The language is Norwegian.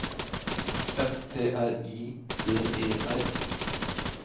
S T R I D E R